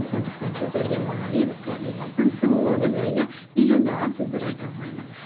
сондықтан сіздерге мона лиза картинасының сұлулығы жайлы миллиондаған сөздер айта алмаймын